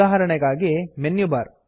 ಉದಾಹರಣೆಗಾಗಿ menu bar